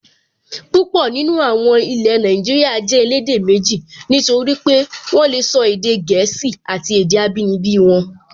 Púpọ̀ nínú àwọn ilẹ̀ Nàìjíríyà jẹ́ elédè méjì, nítorí pé wọ́n lè sọ èdè gẹ̀ẹ́sì àti èdè abínibí wọn